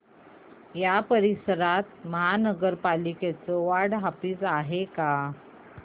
या परिसरात महानगर पालिकेचं वॉर्ड ऑफिस आहे का